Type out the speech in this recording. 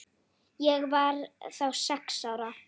Ég var þá sex ára.